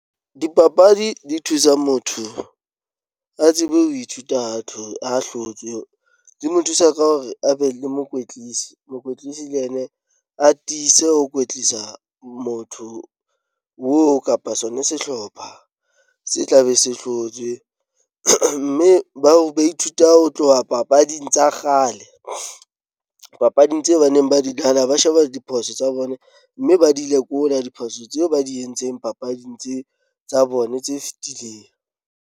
Dipapadi di thusa motho a tsebe ho ithuta ha hlotswe. Di mo thusa ka hore a be le mokwetlisi, mokwetlisi le yena a tiise ho kwetlisa motho oo kapa sona sehlopha se tla be se hlotswe. Mme bao ba ithuta ho tloha papading tsa kgale, papading tseo ba neng ba di dlala. Ba sheba diphoso tsa bona mme ba di lekola diphoso tseo ba di entseng papading tse, tsa bona tse fetileng.